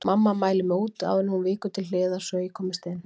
Mamma mælir mig út áður en hún víkur til hliðar svo ég komist inn.